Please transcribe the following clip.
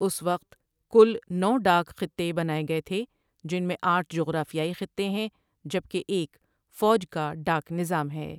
اس وقت کُل نو ڈاک خطے بنائے گئے تھے جن میں آٹھ جغرافیائی خطے ہیں جبکہ ایک فوج کا ڈاک نظام ہے